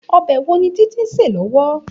Òbè wó ni Titi n sé lòwò?